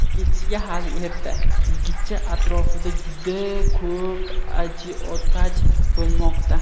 Ketishiga hali erta, yigitcha atrofida juda ko‘p ajiotaj bo‘lmoqda.